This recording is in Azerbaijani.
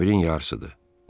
11-in yarısıdır.